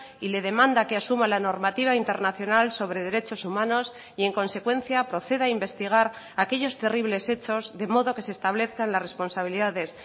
y le demanda que asuma la normativa internacional sobre derechos humanos y en consecuencia proceda a investigar aquellos terribles hechos de modo que se establezcan las responsabilidades